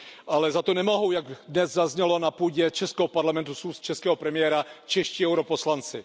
Ale za to nemohou, jak dnes zaznělo na půdě českého parlamentu z úst českého premiéra, čeští europoslanci.